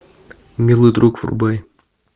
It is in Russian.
милый друг врубай